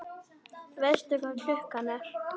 Veistu hvað klukkan er?